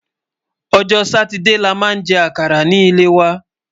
ọjọ Sátidé là má jè àkàrà ní lè wà